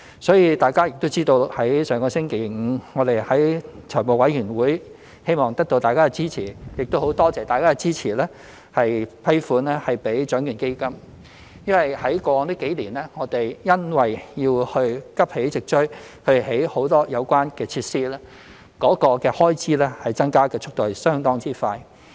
所以大家也知道，政府上星期五在財務委員會會議希望得到大家支持，亦很感謝大家支持批款注資獎券基金，因為過往幾年，我們因要急起直追興建很多有關設施，該開支增加的速度相當快。